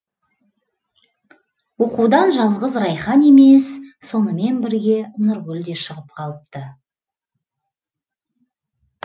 оқудан жалғыз райхан емес сонымен бірге нұргүл де шығып қалыпты